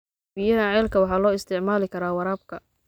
Biyaha ceelka waxaa loo isticmaali karaa waraabka.